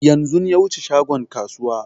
Yanzun ya wuce shagon kasuwa